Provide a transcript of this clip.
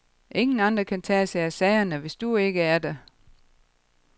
Ingen andre kan tage sig af sagerne, hvis du ikke er der.